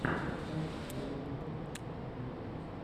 подкаст ойга конторшен джулиа